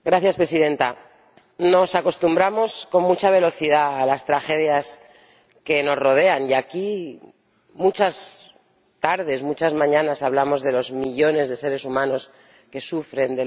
Señora Presidenta, nos acostumbramos con mucha velocidad a las tragedias que nos rodean y aquí, muchas tardes, muchas mañanas, hablamos de los millones de seres humanos que sufren